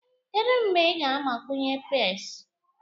Kedu mgbe ị ga-agbakwunye peas?